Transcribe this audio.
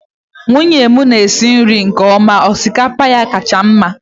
nwunye m na-esi nri nke ọma.. osikapa ya kacha mma